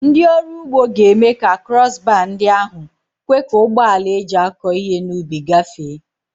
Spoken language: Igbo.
Ndị ọrụ ugbo ga-eme ka krọs baa ndị ahụ kwe ka ụgbọ ala eji akọ ihe n'ubi gafee.